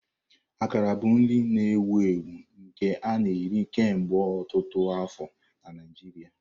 Akara bụ nri na-ewu ewu nke a na-eri kemgbe ọtụtụ afọ na Naijiria.